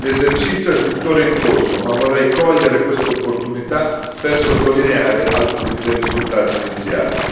L'esercizio è tuttora in corso, ma vorrei cogliere quest'opportunità per sottolineare alcuni dei risultati iniziali.